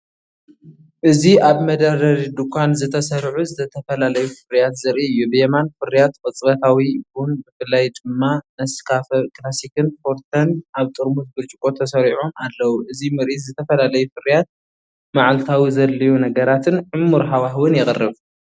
እዚ ኣብ መደርደሪ ድኳን ዝተሰርዑ ዝተፈላለዩ ፍርያት ዘርኢ እዩ። ብየማን፡ ፍርያት ቅጽበታዊ ቡን ብፍላይ ድማ ነስካፈ ክላሲክን ፎርተን ኣብ ጥርሙዝ ብርጭቆ ተሰሪዖም ኣለዉ። እዚ ምርኢት ዝተፈላለዩ ፍርያት፡ መዓልታዊ ዘድልዩ ነገራትን ዕሙር ሃዋህውን የቕርብ።